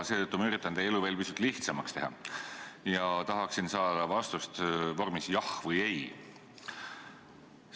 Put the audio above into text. Seetõttu üritan ma teie elu veel pisut lihtsamaks teha ja tahan saada vastust vormis "jah" või "ei".